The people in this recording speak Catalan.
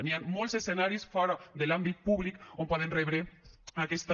hi ha molts escenaris fora de l’àmbit públic on poden rebre aquesta